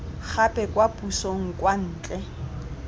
gape kwa pusong kwa ntle